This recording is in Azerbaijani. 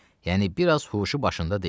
Yəni biraz huşu başında deyil.